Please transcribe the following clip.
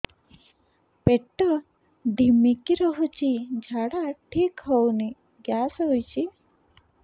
ପେଟ ଢିମିକି ରହୁଛି ଝାଡା ଠିକ୍ ହଉନି ଗ୍ୟାସ ହଉଚି